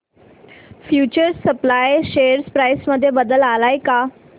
future supply share price मध्ये बदल आलाय का